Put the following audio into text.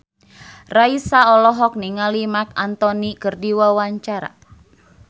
Raisa olohok ningali Marc Anthony keur diwawancara